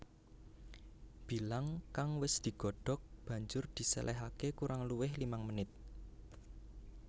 Bilang kang wis digodhog banjur disèlèhaké kurang luwih limang menit